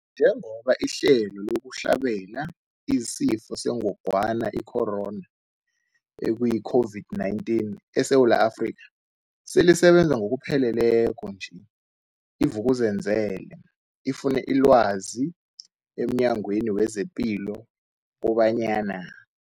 Njengoba ihlelo lokuhlabela isiFo sengogwana i-Corona, i-COVID-19, eSewula Afrika selisebenza ngokupheleleko nje, i-Vuk'uzenzele ifune ilwazi emNyangweni wezePilo kobanyana.